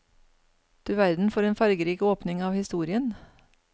Du verden for en fargerik åpning av historien.